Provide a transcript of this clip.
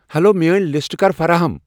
Hello, میٲنۍ لسٹہٕ کر فراہم ۔